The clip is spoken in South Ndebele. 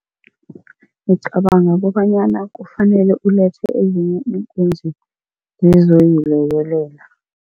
Ngicabanga kobanyana kufanele ulethe ezinye iinkunzi zizoyilekelela.